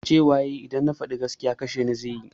Cewa yayi idan na faɗi gaskiya kasheni zai yi